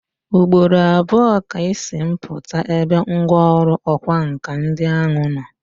Ugboro abụọ ka Ị si m pụta ebe ngwọrụ ọkwa nka ndi ahụ nọ.